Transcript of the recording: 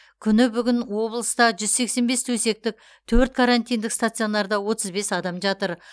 күні бүгін облыста жүз сексен бес төсектік төрт карантиндік стационарда отыз бес адам жатыр